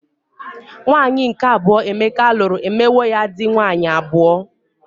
Nwaanyi nke abuo Emeka lụrụ emewo ya dị nwaanyị abụọ.